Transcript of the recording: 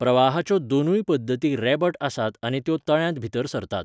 प्रवाहाच्यो दोनूय पद्दती रेबट आसात आनी त्यो तळ्यांत भितर सरतात.